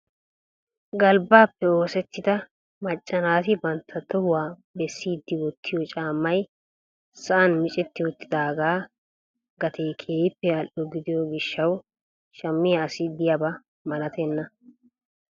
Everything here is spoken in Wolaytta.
galbbappe oosettida macca naati bantta tohuwaa bessidi wottiyo caammay sa'an miccetti uttidaaga gatee keehippe al''o gidiyo gishshaw shammiya asi diyaaba malatenna.